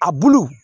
A bulu